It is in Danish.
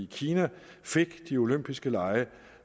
kina fik de olympiske lege